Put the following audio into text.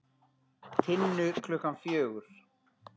Tinnu klukkan fjögur.